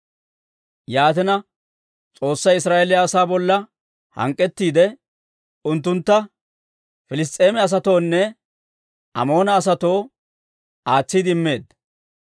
Yaatina, S'oossay Israa'eeliyaa asaa bolla hank'k'ettiide, unttuntta Piliss's'eema asatoonne Amoona asatoo aatsiide immeedda.